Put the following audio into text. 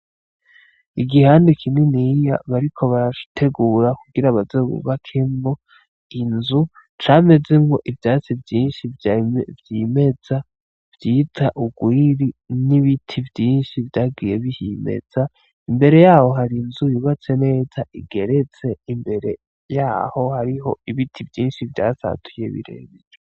Igihande kininiya bariko barategura kugira baze bubakemwo inzu, camezemwo ivyatsi vyinshi vyimeza bita urwiri n'ibiti vyinshi vyagiye bihimeza, imbere yaho hari inzu yubatse neza igeretse, imbere yaho hari ibiti vyinshi vyasatuye birebire.